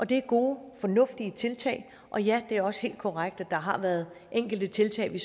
det er gode fornuftige tiltag og ja det er også helt korrekt at der har været enkelte tiltag vi